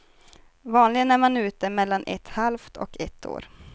Vanligen är man ute mellan ett halvt och ett år.